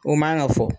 U man ka fɔ